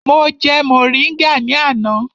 Mo jẹ mọ̀ríngà ní àná.